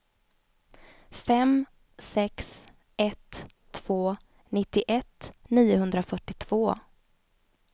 fem sex ett två nittioett niohundrafyrtiotvå